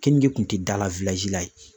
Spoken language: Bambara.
Kenige kun tɛ da la la yen.